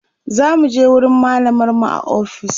zamuje wurin mallamar mu a ofis